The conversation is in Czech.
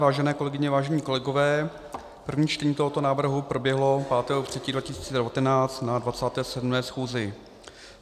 Vážené kolegyně, vážení kolegové, první čtení tohoto návrhu proběhlo 5. 3. 2019 na 27. schůzi.